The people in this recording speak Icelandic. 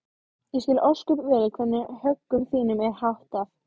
Ég skil ósköp vel hvernig högum þínum er háttað.